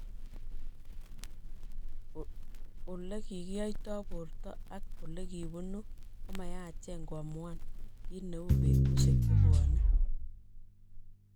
Ulekikiyaito borto ak olekipunu komayache koamuan kiit neu betusiek chebwone